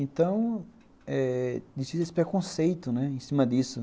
Então, eh existia esse preconceito em cima disso.